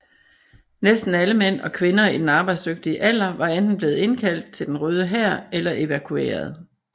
Næsten alle mænd og kvinder i den arbejdsdygtige alder var enten blevet indkaldt til Den Røde Hær eller evakueret